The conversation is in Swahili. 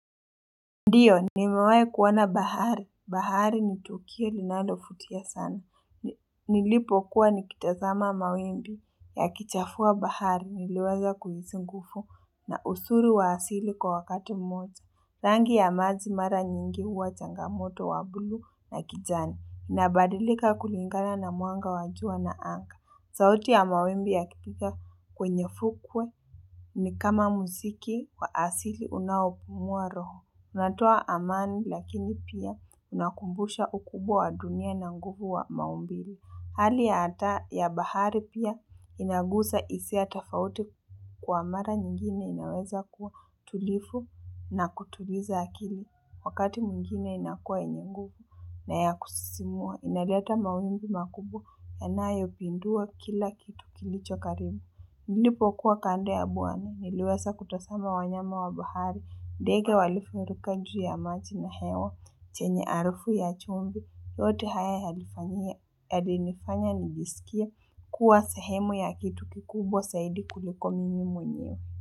Ndio, nimewahi kuona bahari. Bahari ni tukio linalovutia sana. Nilipokuwa nikitazama mawimbi yakichafua bahari. Niliwaza kuhusu nguvu na uzuri wa asili kwa wakati mmoja. Rangi ya maji mara nyingi huwa changamoto wa bluu na kijani. Nabadilika kulingana na mwanga wa jua na anga. Sauti ya mawimbi yakipiga kwenye fukwe ni kama muziki wa asili unaopumua roho. Natoa amani lakini pia unakumbushwa ukubwa wa dunia na nguvu wa maumbile. Hali ya hata ya bahari pia inagusa hisia tofauti kwa mara nyingine inaweza kuwa tulivu na kutuliza akili. Wakati mwingine inakuwa yenye nguvu na ya kusisimua. Inaleta mawimbi makubwa yanayopindua kila kitu kilicho karibu. Nilipokuwa kando ya bwani, niliweza kutazama wanyama wa bahari, ndege walifuruka juu ya maji na hewa, chenye harufu ya chumvi, yote haya yalinifanya nijisikie, kuwa sehemu ya kitu kikubwa zaidi kuliko mimi mwenyewe.